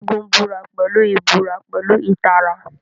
Segun búra pẹ̀lú ìbúra pẹ̀lú ìtara.